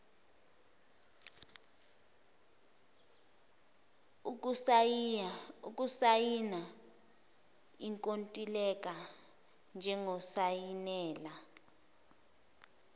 ukusayina ikontileka njengosayinela